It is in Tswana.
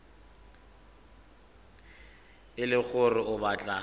e le gore o batla